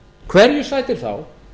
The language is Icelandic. hverju sætir þá